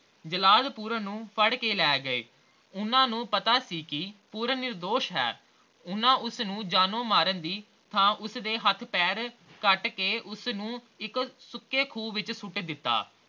ਜਲਾਦ ਪੂਰਨ ਨੂੰ ਫੜ ਕੇ ਲੈ ਗਏ ਓਹਨਾ ਨੂੰ ਪਤਾ ਸੀ ਕੇ ਪੂਰਨ ਨਿਰਦੋਸ਼ ਹੈ ਓਹਨਾ ਉਸਨੂੰ ਜਾਨੋ ਮਾਰਨ ਦੀ ਥਾਂ ਉਸਦੇ ਹੱਥ ਪੈਰ ਕੱਟਕੇ ਉਸਨੂੰ ਇਕ ਸੁੱਕੇ ਖੂਹ ਵਿੱਚ ਸੁੱਟ ਦਿੱਤਾ